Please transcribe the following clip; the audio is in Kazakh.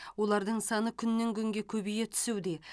олардың саны күннен күнге көбейе түсуде